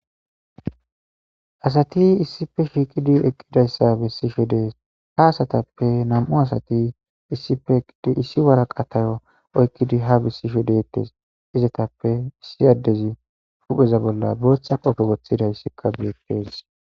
Asati issife shiiqidi eqqidayssa bessisho dees ha asatappe nam'u asati issife eqqidi issi waraqatayo oykkidi ha bessisho deetes izatappe issi addezi pupheza bolla bootha qofe woththidayssikka beettes.